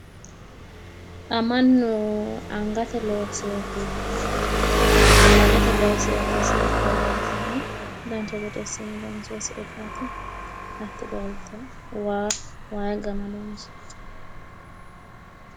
Xa mannu angate looseyooti qalamete looseyooti siilla leeltawoo"e dancha gede assine loonsoyi siillaati hattono waa waayi gama lonsoyiite.